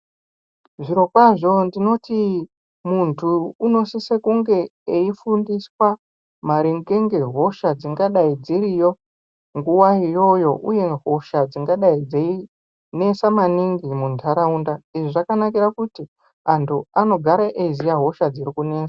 Zvirokwazvo ndinoti muntu unosiso kunge eifundiswa maringe ngehosha dzingadai dziriyo nguwayo iyoyo, uye hosha dzingadai dzeinesa maningi mumantaraunda. Izvi zvakanakira kuti antu anogare eiziya hosha dziri kunesa.